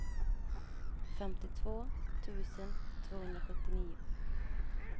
femtiotvå tusen tvåhundrasjuttionio